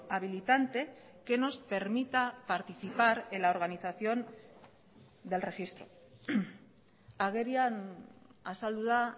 habilitante que nos permita participar en la organización del registro agerian azaldu da